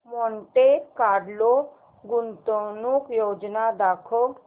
Monte Carlo गुंतवणूक योजना दाखव